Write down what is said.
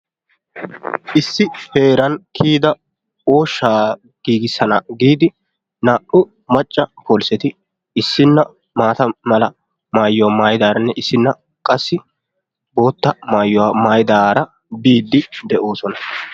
Issi heeran kiyida ooshshaa giigissana giidi naa"u macca polisetti issina maata mala maayuwaa maayidaranne issina qassi bootta maayuwaa maaridaara biidi de"oosona.